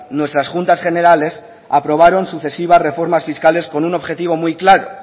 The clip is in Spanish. nuestras juntas generales aprobaron sucesivas reformas fiscales con un objetivo muy claro